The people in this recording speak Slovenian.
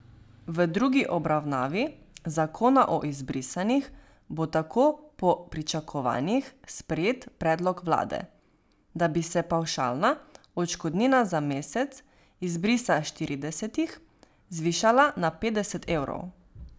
V drugi obravnavi zakona o izbrisanih bo tako po pričakovanjih sprejet predlog vlade, da bi se pavšalna odškodnina za mesec izbrisa s štiridesetih zvišala na petdeset evrov.